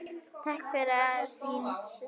Takk fyrir allt, þín systir.